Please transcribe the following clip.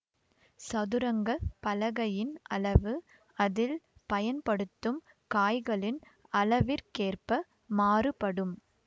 சதுரங்க பலகையின் அளவு அதில் பயன்படுத்தும் காய்களின் அளவிற்கேற்ப மாறுபடும்